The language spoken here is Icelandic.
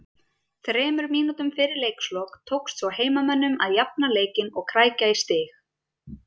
Þremur mínútum fyrir leiks lok tókst svo heimamönnum að jafna leikinn og krækja í stig